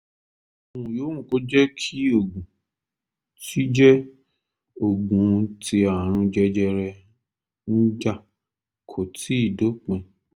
ohun yòówù kó jẹ́ ogun tí jẹ́ ogun tí ààrùn jẹjẹrẹ ń jà kò tíì dópin